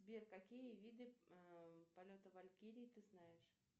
сбер какие виды полета валькирии ты знаешь